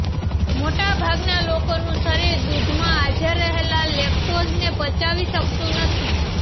મોટાભાગના લોકોનું શરીર દૂધમાં હાજર રહેલા લેક્ટોઝને પચાવી શકતું નથી